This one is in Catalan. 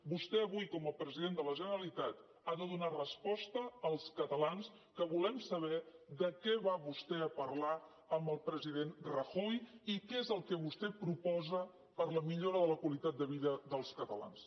vostè avui com a president de la generalitat ha de donar resposta als catalans que volem saber de què va vostè a parlar amb el president rajoy i què és el que vostè proposa per a la millora de la qualitat de vida dels catalans